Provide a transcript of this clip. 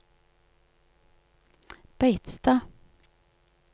Beitstad